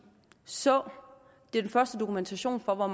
så den første dokumentation for hvor